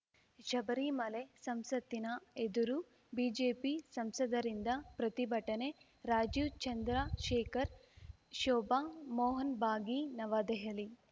ಶಬರಿಮಲೆ ಸಂಸತ್ತಿನ ಎದುರು ಬಿಜೆಪಿ ಸಂಸದರಿಂದ ಪ್ರತಿಭಟನೆ ರಾಜೀವ್‌ ಚಂದ್ರಶೇಖರ್‌ ಶೋಭಾ ಮೋಹನ್‌ ಭಾಗಿ ನವದೆಹಲಿ